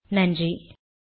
கலந்து கொண்டமைக்கு நன்றி